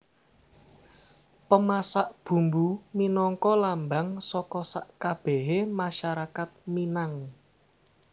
Pemasak Bumbu minangka lambang saka sakabèhé masyarakat Minang